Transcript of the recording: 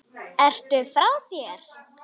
Ertu frá þér?